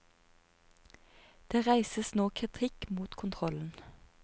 Det reises nå kritikk mot kontrollen.